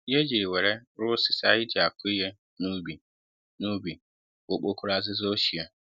Ihe e jiri wéré rụọ osisi anyị ji akụ ihe n'ubi n'ubi bụ okpokoro azịza ochie